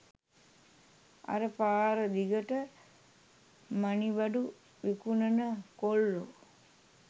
අර පාර දිගට මනිබඩු විකුණන කොල්ලො